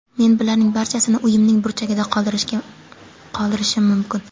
Men bularning barchasini uyimning burchagida qoldirishim mumkin.